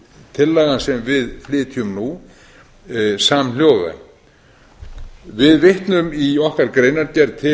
tillagan sem við flytjum nú samhljóða við vitnum í okkar greinargerð til